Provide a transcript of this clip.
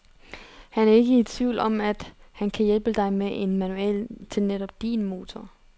Han er ikke i tvivl om, at han kan hjælpe dig med en manual til netop din motor.